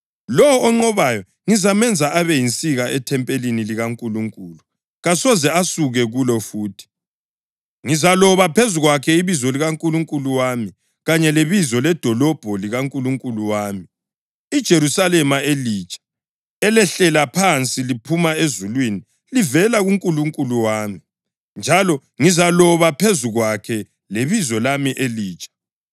Lowo onqobayo ngizamenza abe yinsika ethempelini likaNkulunkulu. Kasoze asuke kulo futhi. Ngizaloba phezu kwakhe ibizo likaNkulunkulu wami kanye lebizo ledolobho likaNkulunkulu wami, iJerusalema elitsha, elehlela phansi liphuma ezulwini livela kuNkulunkulu wami; njalo ngizaloba phezu kwakhe lebizo lami elitsha.